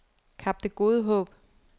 Kap Det Gode Håb